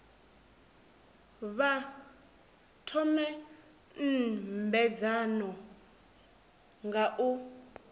vha thome nymbedzano nga u